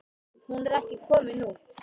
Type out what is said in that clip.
Hún er ekki komin út.